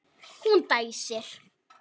Hún dæsir.